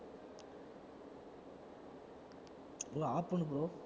bro off பண்ணு bro